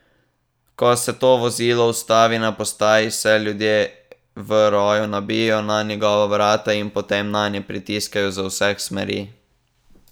Ko se to vozilo ustavi na postaji, se ljudje v roju nabijejo na njegova vrata in potem nanje pritiskajo z vseh smeri.